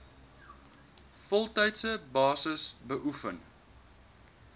voltydse basis beoefen